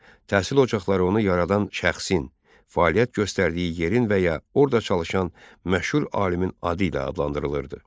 Təhsil ocaqları onu yaradan şəxsin, fəaliyyət göstərdiyi yerin və ya orada çalışan məşhur alimin adı ilə adlandırılırdı.